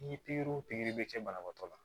Ni pikiri o pikiri bɛ kɛ banabaatɔ la